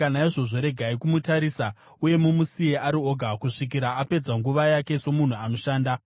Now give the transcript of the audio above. Naizvozvo regai kumutarisa uye mumusiye ari oga, kusvikira apedza nguva yake somunhu anoshanda.